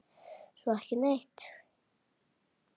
Svo ekki neitt.